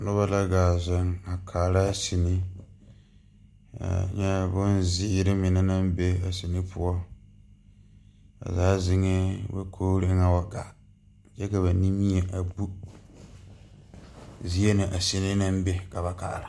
Nobɔ ka zeŋ a kaara sine nyɛ bonzeere mine naŋ be a sine poɔ ba zaa zeŋɛɛ dakogre eŋɛ wa gaa kyɛ ka ba nimie a bu zie na a sine naŋ be ka ba kaara.